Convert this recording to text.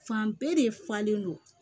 Fan bɛɛ de falen don